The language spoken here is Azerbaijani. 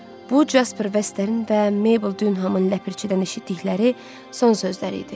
Bu Casper Vesterin və Mabel Dunhamın nəpərçidən eşitdikləri son sözləri idi.